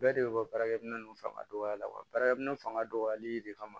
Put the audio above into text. Bɛɛ de bɛ bɔ baarakɛminɛw fanga dɔgɔya wa baarakɛ minɛn fanga dɔgɔyali de kama